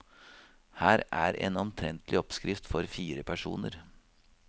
Her er en omtrentlig oppskrift for fire personer.